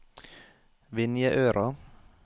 Vinjeøra